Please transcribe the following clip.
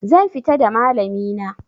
Zan fita da malami na